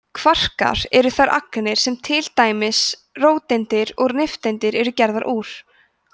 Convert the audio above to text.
kvarkar eru þær agnir sem til dæmis róteindir og nifteindir eru gerðar úr